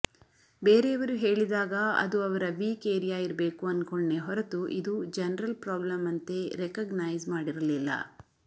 ಬೇರೆಯವರು ಹೇಳಿದಾಗ ಅದು ಅವರ ವೀಕ್ ಏರಿಯಾ ಇರ್ಬೇಕು ಅನ್ಕೊಂಡ್ನೇ ಹೊರತು ಇದು ಜನರಲ್ ಪ್ರಾಬ್ಲಮ್ ಅಂತೆ ರೆಕಗನೈಸ್ ಮಾಡಿರಲಿಲ್ಲ